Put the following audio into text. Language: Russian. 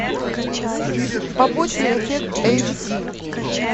побочный эффект эйч ди